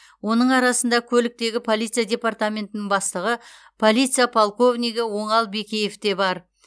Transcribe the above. оның арасында көліктегі полиция департаментінің бастығы полиция полковнигі оңал бекеев те бар